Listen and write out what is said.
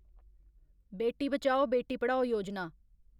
बेटी बचाओ, बेटी पढ़ाओ योजना